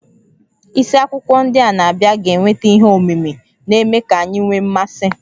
Isiakwụkwọ ndị na-abịa ga-eweta ihe omimi, na-eme ka anyị nwee mmasị